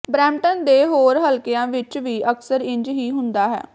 Brampton ਦੇ ਹੋਰ ਹਲਕਿਆਂ ਵਿਚ ਵੀ ਅਕਸਰ ਇੰਜ ਹੀ ਹੁੰਦਾ ਹੈ